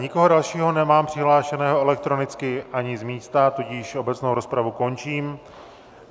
Nikoho dalšího nemám přihlášeného elektronicky ani z místa, tudíž obecnou rozpravu končím.